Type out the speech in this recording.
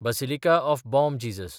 basilica of Bom Jesus